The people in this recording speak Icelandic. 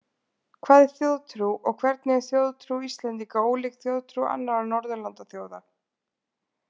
Hvað er þjóðtrú og hvernig er þjóðtrú Íslendinga ólík þjóðtrú annarra Norðurlandaþjóða?